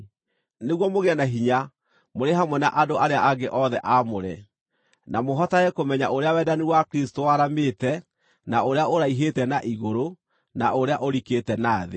nĩguo mũgĩe na hinya, mũrĩ hamwe na andũ arĩa angĩ othe aamũre, na mũhotage kũmenya ũrĩa wendani wa Kristũ waramĩte, na ũrĩa ũraihĩte na igũrũ, na ũrĩa ũrikĩte na thĩ,